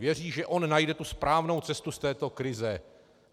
Věří, že on najde tu správnou cestu z této krize.